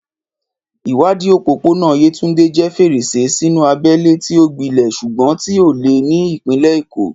Ìwádìí òpópónà Yetunde jẹ́ fèrèsé sínú abẹ́lẹ̀ tí ó gbilẹ̀ ṣùgbọ́n tí ó le ní ìpínlẹ̀ Èkó.